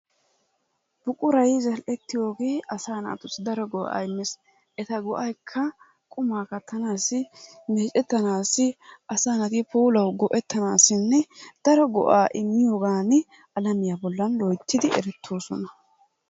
Buquray zal''ettiyogee asaa naatussi daro go'aa immees. Eta go'aykka qumaa kattanaassi, meecettanaassi asaa naati puulawu go'ettanaassinne daro go'aa immiyogan alamiya bollan loyittidi erettoosona.